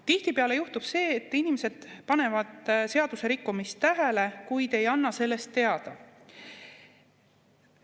Tihtipeale juhtub see, et inimesed panevad seadusrikkumist tähele, kuid ei anna sellest teada.